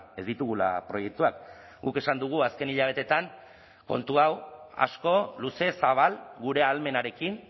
ez ditugula proiektuak guk esan dugu azken hilabeteetan kontu hau asko luze zabal gure ahalmenarekin